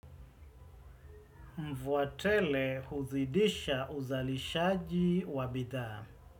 Mvua tele huzidisha uzalishaji wa bidhaa.